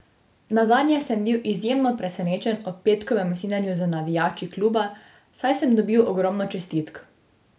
Nazadnje sem bil izjemno presenečen ob petkovem snidenju z navijači kluba, saj sem dobil ogromno čestitk.